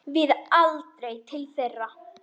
Við aldrei til þeirra.